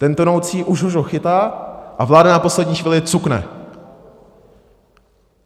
Ten tonoucí ho už už chytá, a vláda na poslední chvíli cukne.